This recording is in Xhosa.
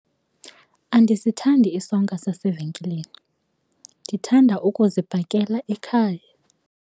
Andisithandi isonka sasevenkileni, ndithanda ukuzibhakela ekhaya.